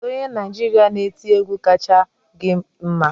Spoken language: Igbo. Kedu onye Naịjirịa na-eti egwu kacha gi mma?